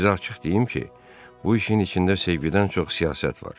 Sizə açıq deyim ki, bu işin içində sevgidən çox siyasət var.